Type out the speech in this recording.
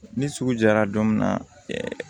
Ni sugu jara don min na